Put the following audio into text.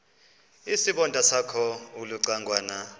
isibonda sakho ulucangwana